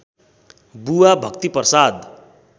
बुबा भक्तिप्रसाद